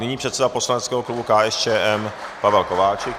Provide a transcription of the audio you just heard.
Nyní předseda poslaneckého klubu KSČM Pavel Kováčik.